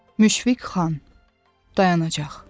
Müşfiq xan dayanacaq.